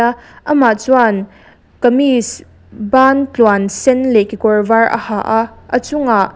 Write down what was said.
amah chuan kamis ban tluan sen leh kekawr var a ha a a chungah--